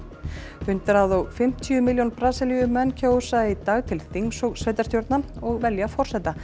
hundrað og fimmtíu milljón Brasilíumenn kjósa í dag til þings og sveitarstjórna og velja forseta